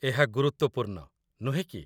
ଏହା ଗୁରୁତ୍ୱପୂର୍ଣ୍ଣ, ନୁହେଁ କି?